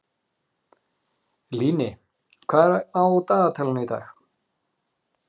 Líni, hvað er á dagatalinu í dag?